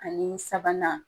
Ani sabanan